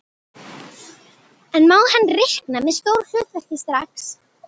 En má hann reikna með stóru hlutverki strax?